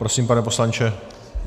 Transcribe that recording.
Prosím, pane poslanče.